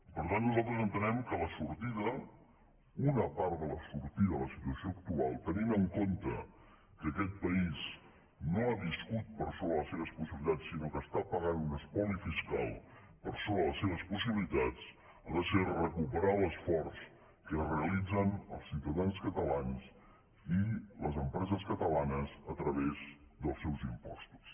per tant nosaltres entenem que la sortida una part de la sortida de la situació actual tenint en compte que aquest país no ha viscut per sobre de les seves possibilitats sinó que està pagant un espoli fiscal per sobre de les seves possibilitats ha de ser recuperar l’esforç que realitzen els ciutadans catalans i les empreses catalanes a través dels seus impostos